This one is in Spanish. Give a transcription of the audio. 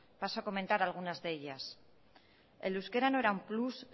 paso a comentar alguna de ellas el euskera no era un plus